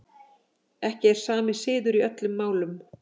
Ekki er sami siður í öllum málum.